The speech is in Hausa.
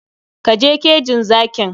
Ka je kejin zakin!